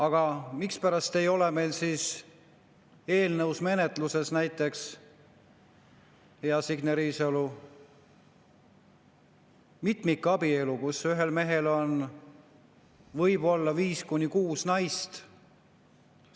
Aga mispärast ei ole meil siis eelnõus näiteks, hea Signe Riisalo, mitmikabielu, nii et ühel mehel võiks olla viis kuni kuus naist?